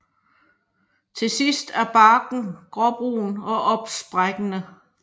Til sidst er barken gråbrun og opsprækkende